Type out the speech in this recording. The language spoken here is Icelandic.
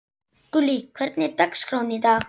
Gullý, hvernig er dagskráin í dag?